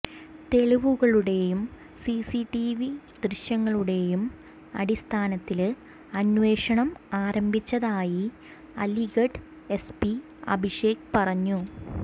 തെളിവുകളുടെയും CCTV ദൃശ്യങ്ങളുടെയും അടിസ്ഥാനത്തില് അന്വേഷണം ആരംഭിച്ചതായി അലിഗഡ് എസ് പി അഭിഷേക് പറഞ്ഞു